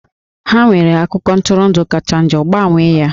Ha nwere akụkọ ntụrụndụ kacha njọ, gbanwee ya!